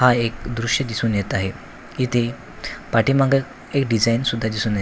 हा एक दृश्य दिसून येत आहे. इथे पाठीमागे एक डिझाईन सुद्धा दिसून येत--